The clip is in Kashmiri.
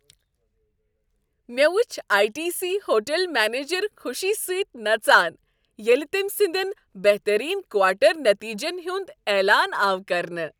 مےٚ وچھ I T C hotel manager خوشی سۭتۍ نژان ییٚلہ تٔمۍ سندین بہترین کواٹر نتیجن ہند اعلان آو کرنہٕ